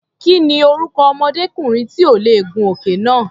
Kí ni orúkọ ọmọdékùnrin tí ò lè gun òkè náà?